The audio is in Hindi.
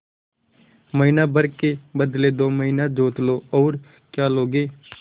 महीना भर के बदले दो महीना जोत लो और क्या लोगे